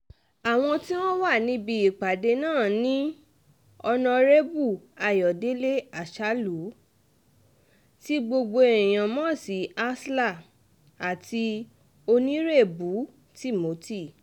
àwọn tí wọ́n wà níbi ìpàdé náà ni ọ̀nàrẹ́bù ayọ̀dẹ̀lẹ̀ àsálù tí gbogbo èèyàn mọ̀ sí asler àti onírèbù timothy